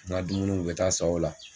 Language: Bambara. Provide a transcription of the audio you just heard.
N ka dumuni kun bɛ taa san o la